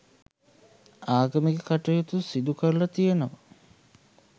ආගමික කටයුතු සිදු කරල තියෙනවා.